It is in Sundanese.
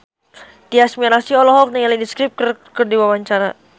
Tyas Mirasih olohok ningali The Script keur diwawancara